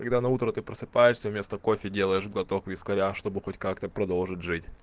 когда на утро ты просыпаешься вместо кофе делаешь глоток вискаря чтобы хоть как-то продолжить жить